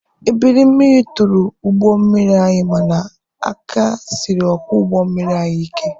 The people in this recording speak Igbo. Ebiri mmiri tụrụ ụgbọ mmiri anyị mana aka siri ọkwọ ụgbọ mmiri anyị ike.